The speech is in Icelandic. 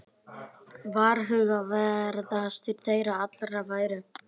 Varhugaverðastir þeirra allra væru